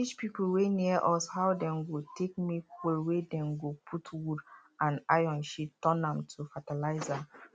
we teach people wey near us how dem go take make hole wey dem go put wood and iron shit turn am to fertiliser